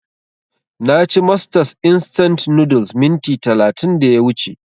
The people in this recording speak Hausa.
Na ci masters instant noodles minti talatin da ya wuce